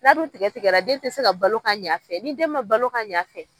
N'a dun tigɛ tigɛra den tɛ se ka balo ka ɲɛ a fɛ ni den ma balo ka ɲɛ a fɛ.